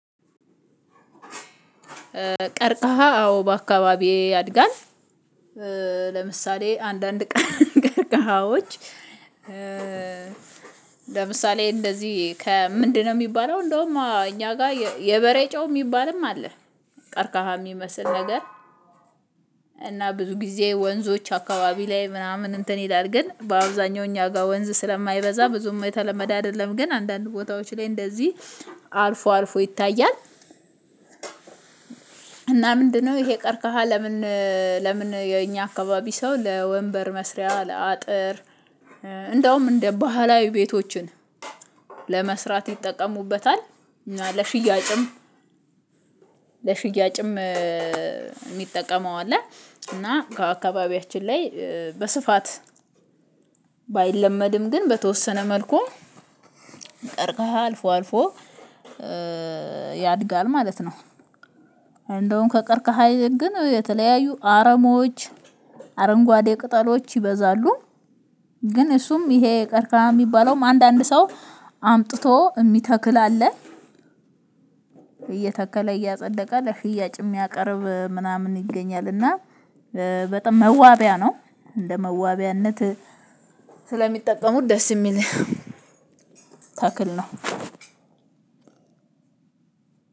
ቀርቀሃ አዎ በአካባቢዬ ያድጋል። ለምሳሌ አንዳንድ ቀርከሃዎች ለምሳሌ እንደዚህ ከምንድነው የሚባለው እንደውም እኛ ጋር የበሬ ጨው የሚባልም አለ ቀርቃሃ የሚመስል ነገር። እና ብዙ ጊዜ ወንዞች አካባቢ ላይ ምናምን እንትን ይላል ግን በአብዛኛው እኛ ጋር ወንዝ ስለማይበዛ ብዙም የተለመደ አይደለም ግን አንዳንድ ቦታዎች ላይ እንደዚህ አልፎ አልፎ ይታያል። እና ምንድነው ይሄ ቀርቀሃ ለምን ለምን የኛ አካባቢ ሰው ለወንበር መስሪያ፣ ለአጥር እንደውም እንደ ባህላዊ ቤቶችን ለመስራት ይጠቀሙበታል እና ለሽያጭም ለሽያጭም የሚጠቀመው አለ እና ከአካባቢያችን ላይ በስፋት ባይለመድም ግን በተወሰነ መልኩ ቀርቀሃ አልፎ አልፎ ያድጋል ማለት ነው እንደውም ከቀርቀሃ ይልቅ ግን የተለያዩ አረሞች አረንጓዴ ቅጠሎች ይበዛሉ። ግን እሱም ይሄ ቀርቀሃ የሚባለውም አንዳንድ ሰው አምጥቶ የሚተክል አለ እየተከለ እያጸደቀ ለሽያጭ የሚያቀርብ ምናምን ይገኛል እና በጣም መዋቢያ ነው እንደ መዋቢያነት ስለሚጠቀሙት ደስ የሚል ተክል ነው።